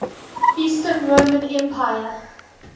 eastern roman empire